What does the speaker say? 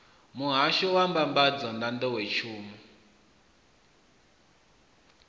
muhahsho wa mbambadzo na nḓowetshumo